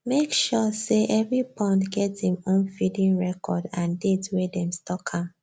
make sure say every pond get im own feeding record and date wey them stock am